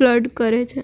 flirt કરે છે